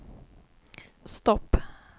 stopp